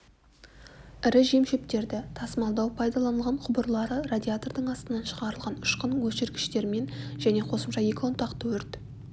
ірі жем-шөптерді тасымалдау пайдаланылған құбырлары радиатордың астынан шығарылған ұшқын өшіргіштермен және қосымша екі ұнтақты өрт